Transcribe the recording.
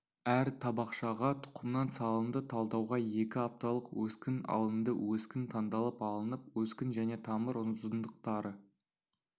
әр табақшаға тұқымнан салынды талдауға екі апталық өскін алынды өскін таңдалып алынып өскін және тамыр ұзындықтары